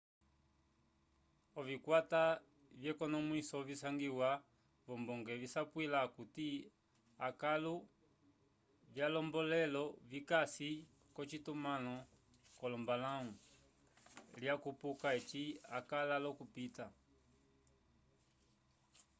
ovikwata vyekonmwiso visangiwa v'ombonge visapwila okuti akãlu vyolombombelo vikasi k'ocitumãlo c'olombalãwu lyakupuka eci akala l'okupita